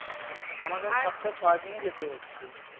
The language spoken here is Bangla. আমাকে কে সপ্তাহে ছ দিন ই যেতে হচ্ছে